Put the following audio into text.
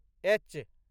H